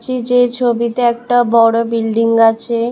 যে ছবিতে একটা বড়ো বিল্ডিং আছে।